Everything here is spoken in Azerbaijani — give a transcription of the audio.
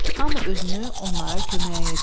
Hamı özünü onlara köməyə yetirdi.